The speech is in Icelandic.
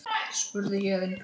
spurði Héðinn.